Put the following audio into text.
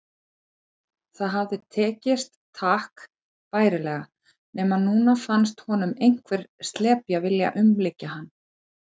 Það hafði tekist takk bærilega, nema núna fannst honum einhver slepja vilja umlykja hann.